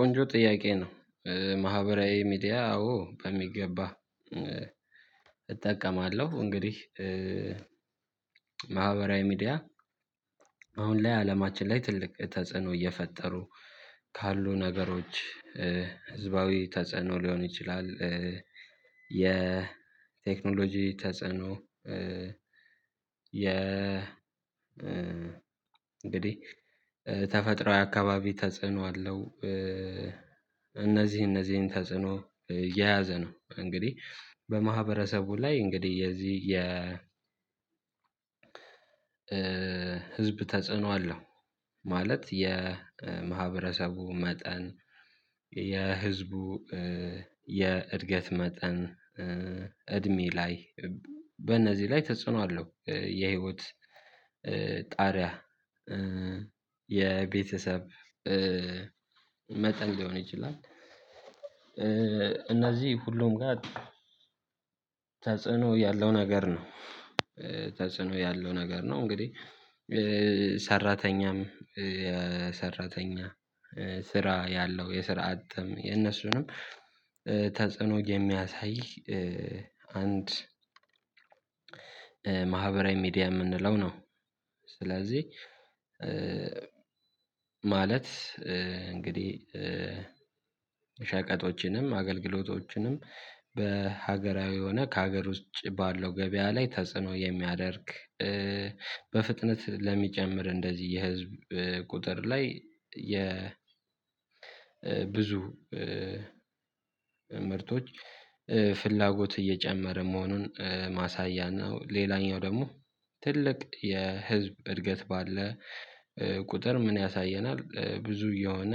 ቆንጆ ጥያቄ ነው። ማህበራዊ ሚዲያ አዎ ከሚገባ እጠቀማለሁ። እንግዲህ ማህበራዊ ሚዲያ አሁን ላይ አለማችን ላይ ትልቅ ተጽዕኖ እየፈጠሩ ካሉ ነገሮች ህዝባዊ ተጸዕኖ ሊሆን ይችላል። የቴክኖሎጂ ተጸዕኖ የ እንግዲህ ተፈጥሮአዊ አካባቢ ተጽዕኖ አለው። እነዚህ እነዚህን ተጽዕኖ የያዘ ነው እንግዲህ በማህበረሰቡ ላይ እንግዲህ የዚህ የ ህዝብ ተጽዕኖ አለው። ማለት የማህበረሰቡ መጠን የህዝቡ የእድገት መጠን እድሜ ላይ በእነዚህ ላይ ተጽዕኖ አለው የህይወት ጣሪያ የቤተሰብ መጠን ሊሆን ይችላል እነዚህ ሁሉም ጋር ተጽዕኖ ያለው ነገር ነው። ተጽዕኖ ያለው ነገር ነው እንግዲህ ሰራተኛም የሰራተኛ ስራ ያለው የስራ አቅም የነሱንም ተጽዕኖ የሚያሳይ አንድ ማህበራዊ ሚዲያ የምንለው ነው። ስለዚህ ማለት እንግዲህ ሸቀጦችንም አገልግሎቶችንም በሀገራዊ የሆነ ከሀገር ውስጥ ባለው ገበያ ላይ ተጽዕኖ የሚያደርግ በፍጥነት ለሚጨምር እንደዚህ የህዝብ ቁጥር ላይ የ ብዙ ምርቶች ፍላጎት እየጨመረ መሆኑን ማሳያ ነው። ሌላኛው ደግሞ ትልቅ የህዝብ እድገት ባለ ቁጥር ምን ያሳየናል ብዙ የሆነ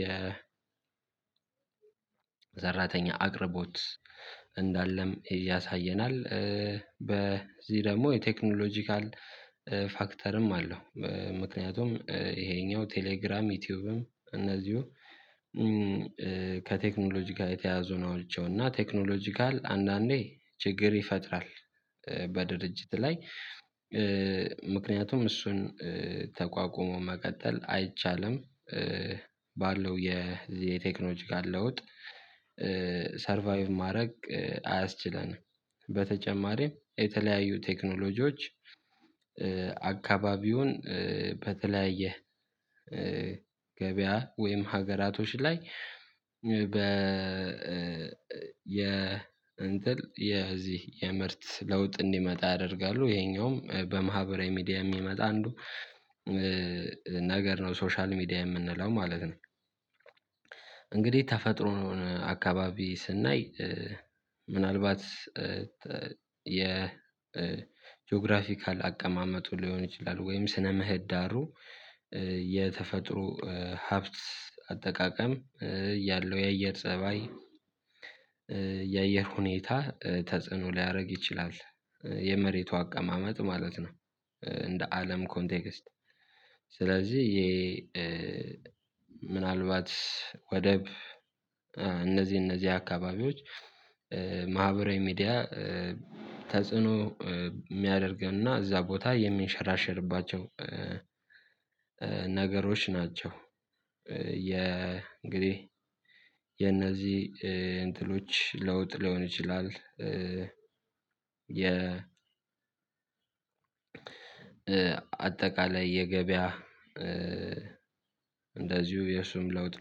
የሰራተኛ አቅርቦት እንዳለም ያሳየናል። በዚህ ደግሞ የቴክኖሎጂካል ፋክተርም አለው ምክንያቱም ይሄኛው ቴሌግራም ዩቲዩብም እነዚሁ ከቴክኖሎጂ ጋር የተያዙ ናቸው። እና ቴክኖሎጂካል አንዳንዴ ችግር ይፈጥራል። በድርጅት ላይ ምክንያቱም እሱን ተቋቁሞ መቀጠል አይቻልም። ባለው የቴክኖሎጂካል ለውጥ ሰርቫይቭ ማድረግ አያስችለንም። በተጨማሪም የተለያዩ ቴክኖሎጂዎች አካባቢውን በተለያየ ገበያ ወይም ሀገራቶች ላይ በ የ እንትን የዚህ የምርት ለውጥ እንዲመጣ ያደርጋሉ ይሄኛውም በማህበራዊ ሚዲያ የሚመጣ አንዱ ነገር ነው። ሶሻል ሚዲያ የምንለው ማለት ነው። እንግዲህ ተፈጥሮን አካባቢ ስናይ ምናልባት የጂኦግራፊካል አቀማመጡ ሊሆን ይችላል ወይም ስነ ምህዳሩ የተፈጥሮ ሀብት አጠቃቀም ያለው የአየር ፀባይ የአየር ሁኔታ ተጽዕኖ ሊያደርግ ይችላል። የመሬቱ አቀማመጥ ማለት ነው። እንደ አለም ኮንቴክስት ስለዚህ ይሄ ምን አልባት ወደብ እነዚህ እነዚህ አካባቢዎች ማህበራዊ ሚዲያ ተጽዕኖ የሚያደርገን እና እዛ ቦታ የሚንሸራሸርባቸው ነገሮች ናቸው። የ እንግዲህ የነዚህ እንትኖች ለውጥ ሊሆን ይችላል። የ አጠቃላይ የገበያ እንደዚሁ የሱም ለውጥ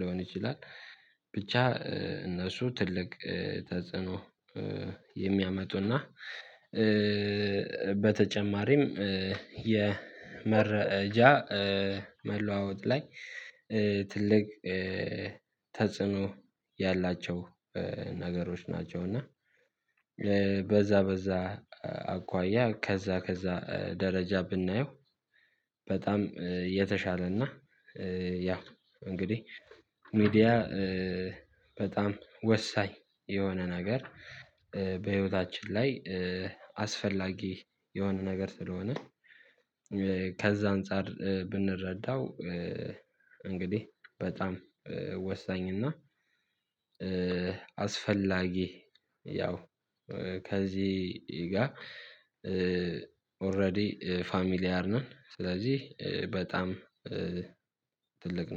ሊሆን ይችላል። ብቻ እነሱ ትልቅ ተጽዕኖ የሚያመጡና በተጨማሪም የመረጃ መለዋወጥ ላይ ትልቅ ተጽዕኖ ያላቸው ነገሮች ናቸው። እና በዛ በዛ አኳያ ከዛ ከዛ ደረጃ ብናየው በጣም የተሻለና ያ እንግዲህ ሚዲያ በጣም ወሳኝ የሆነ ነገር በህይወታችን ላይ አስፈላጊ የሆነ ነገር ስለሆነ ከዛ አንፃር ብንረዳው እንግዲህ በጣም ወሳኝ እና አስፈላጊ ያው ከዚህ ጋር ኦሬዲ ፋሚሊያር ነን ስለዚህ በጣም ትልቅ ነው